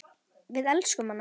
Við elskum hana.